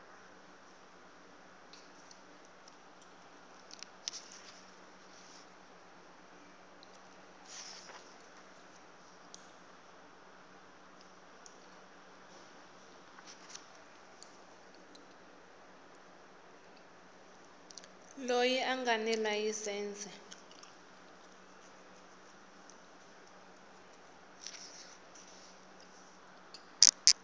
loyi a nga ni layisense